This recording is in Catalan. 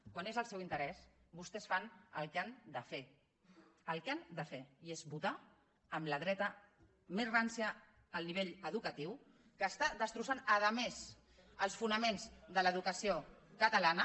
quan són del seu interès vostès fan el que han de fer el que han de fer i és votar amb la dreta més rància el nivell educatiu està destrossant a més els fonaments de l’educació catalana